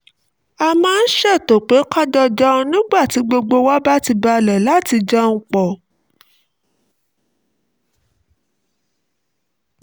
a máa ń ṣètò pé ká jọ jẹun nígbà tí ara gbogbo wa bá ti balẹ̀ láti jẹun papọ̀